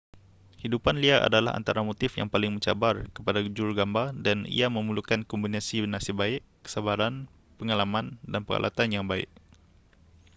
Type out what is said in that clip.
hidupan liar adalah antara motif yang paling mencabar kepada jurugambar dan ia memerlukan kombinasi nasib baik kesabaran pengalaman dan peralatan yang baik